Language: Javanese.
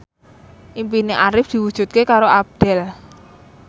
impine Arif diwujudke karo Abdel